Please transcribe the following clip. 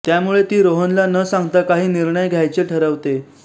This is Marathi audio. त्यामुळे ती रोहनला न सांगता काही निर्णय घ्यायचे ठरवते